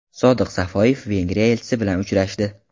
Sodiq Safoyev Vengriya elchisi bilan uchrashdi.